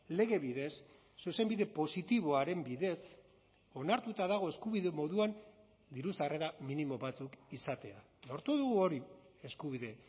lege bidez zuzenbide positiboaren bidez onartuta dago eskubide moduan diru sarrera minimo batzuk izatea lortu dugu hori eskubide